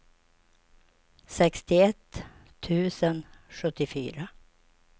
sextioett tusen sjuttiofyra